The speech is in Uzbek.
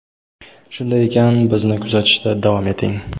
Shunday ekan, bizni kuzatishda davom eting!.